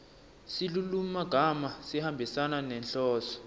silulumagama sihambisana nenhloso